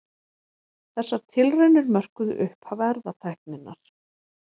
Þessar tilraunir mörkuðu upphaf erfðatækninnar.